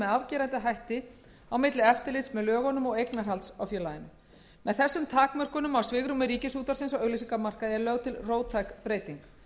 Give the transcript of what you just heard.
afgerandi hætti á milli eftirlits með lögunum og eignarhalds á félaginu með þessum takmörkunum á svigrúmi ríkisútvarpsins á auglýsingamarkaði er lögð til róttæk breyting